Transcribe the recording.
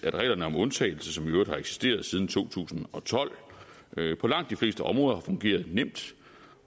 at reglerne om undtagelse som i øvrigt har eksisteret siden to tusind og tolv på langt de fleste områder har fungeret nemt